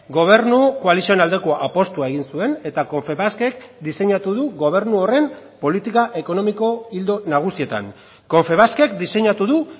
gobernu koalizioen aldeko apustua egin zuen eta confebaskek diseinatu du gobernu horren politika ekonomiko ildo nagusietan confebaskek diseinatu du